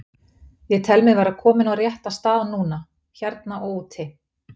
Ég tel mig vera kominn á rétta stað núna, hérna og úti.